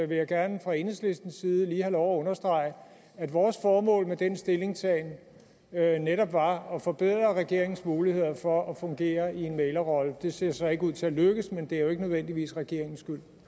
vil jeg gerne fra enhedslistens side lige have understrege at vores formål med den stillingtagen netop var at forbedre regeringens muligheder for at fungere i en mæglerrolle det ser så ikke ud til at lykkes men det er jo ikke nødvendigvis regeringens